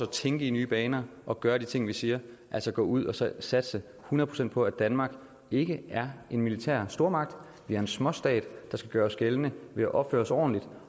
tænke i nye baner og gøre de ting vi siger altså gå ud og så satse hundrede procent på at danmark ikke er en militær stormagt vi er en småstat der skal gøre os gældende ved at opføre os ordentligt